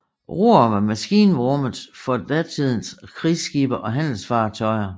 Roere var maskinrummet for datidens krigsskibe og handelsfartøjer